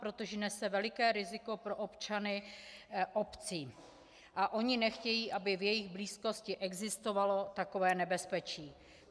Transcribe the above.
Protože nese veliké riziko pro občany obcí a oni nechtějí, aby v jejich blízkosti existovalo takové nebezpečí.